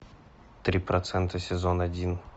три процента сезон один